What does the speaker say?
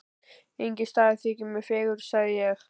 Enginn staður þykir mér fegurri sagði ég.